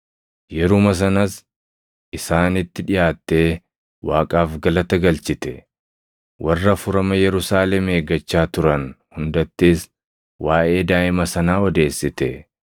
Yeruma sanas isaanitti dhiʼaattee Waaqaaf galata galchite; warra furama Yerusaalem eeggachaa turan hundattis waaʼee daaʼima sanaa odeessite.